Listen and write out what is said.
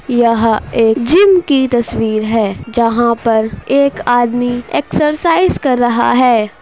यह एक जिम की तस्वीर है जहां पर एक आदमी एक्सरसाइज कर रहा है।